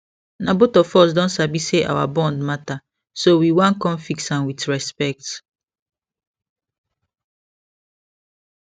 na both of us don sabi say our bond matter so we wan con fix am with respect